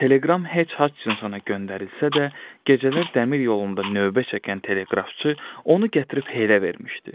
Teleqram Hetch Haçinsona göndərilsə də, gecələr dəmir yolunda növbə çəkən teleqrafçı onu gətirib Helə vermişdi.